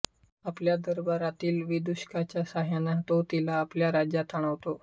आपल्या दरबारातील विदूषकाच्या साहाय्याने तो तिला आपल्या राज्यात आणवतो